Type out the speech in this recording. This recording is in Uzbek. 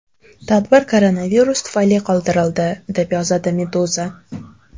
Tadbir koronavirus tufayli qoldirildi, deb yozadi Meduza.